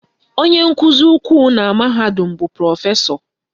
Onye nkụzi ukwu na mahadum bụ Prọfesọ